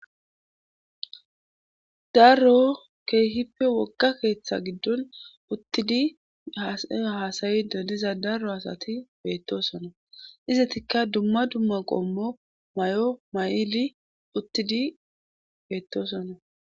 darro keehippe wogga keeththa giddon uttidi haasayi do diza daro asati beettosona izatikka dumma dumma qommo mayo mayidi uttidi beettosona